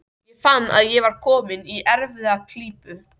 Ég fann að ég var kominn í erfiða klípu.